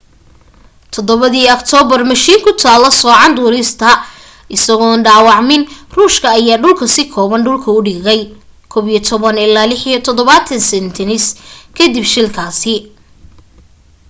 7 dii octoobar mashiin ku kala soocan duulista isagoon dhaawacmin ruushka ayaa dhulka si kooban dhulka u dhigay il-76s kadib shilkaasi